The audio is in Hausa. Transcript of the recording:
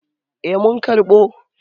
Eh mun karɓo.